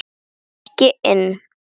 Svo gekk ég inn.